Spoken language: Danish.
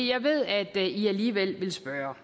jeg ved at i alligevel vil spørge